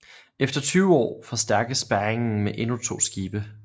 Efter 20 år forstærkes spærringen med endnu to skibe